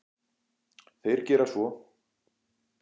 Þeir gera svo.